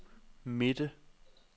midte